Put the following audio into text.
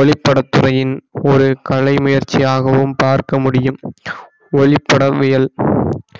ஒளிப்படத்துறையின் ஒரு கலை முயற்சியாகவும் பார்க்க முடியும் ஒளிபடவியல்